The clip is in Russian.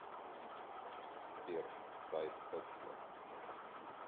сбер сайт эксмо